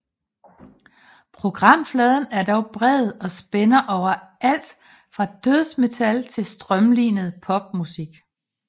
Programfladen er dog bred og spænder over alt fra dødsmetal til strømlinet popmusik